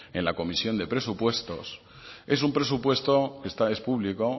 en la comisión de presupuestos es un presupuesto es público